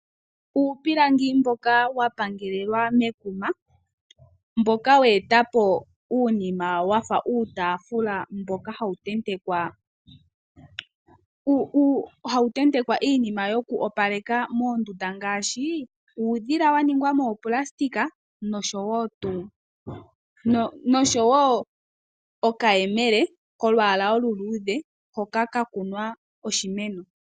Uupilangi mboka wa pangalelwa mekuma mboka weeta po uunima wafa uutaafula mboka hawu tentekwa iinima yokwoopaleka mondunda ngaashi uudhila waningwa moonayilona noshowo okayemele kolwaala oluluudhe hoka ka kunwa oshimeno.